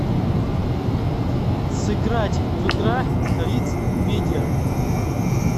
сыграть в игра риц медиа